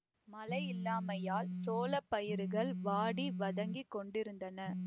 மழையில்லாமையால் சோளப் பயிர்கள் வாடி வதங்கிக் கொண்டிருந்தன